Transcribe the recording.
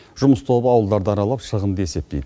жұмыс тобы ауылдарды аралап шығынды есептейді